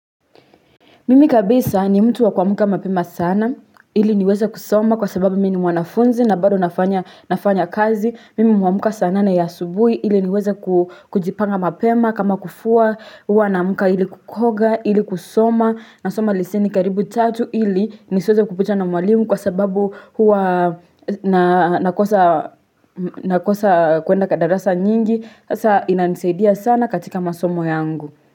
Mimi kabisa ni mtu wa kuamuka mapema sana, ili niweze kusoma kwa sababu mimi mwanafunzi na bado nafanya kazi. Mimi huamuka saa nane ya asubuhi, ili niweze kujipanga mapema kama kufua, huwa naamka ili kukoga, ili kusoma, na soma leseni karibu tatu ili nisiweze kupitwa na mwalimu kwa sababu huwa nakosa kuenda darasa nyingi. Hasa inanisaidia sana katika masomo yangu.